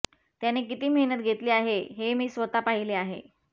त्याने किती मेहनत घेतली आहे हे मी स्वतः पाहिले आहे